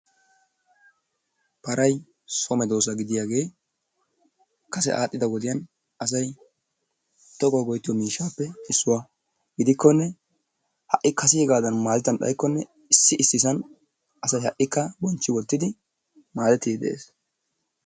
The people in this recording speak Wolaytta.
Para so medoossa gidiyagee kase adhdhida wodiyan asay toggawu go'ettiyo miishshappe issuwa, gidikkonee ha'i kasegaadan maadettan xaykkonne issiissan asay ha'ikka bonchci wottidi maadettidi de'ees.